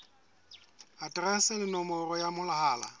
aterese le nomoro ya mohala